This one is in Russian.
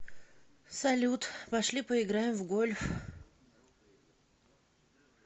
салют пошли поиграем в гольф